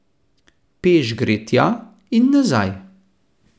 Peš gre tja in nazaj.